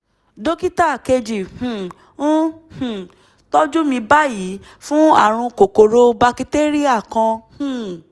dókítà kejì um ń um tọ́jú mi báyìí fún ààrùn kòkòrò bakitéríà kan um